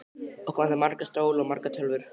Okkur vantar marga stóla og margar tölvur.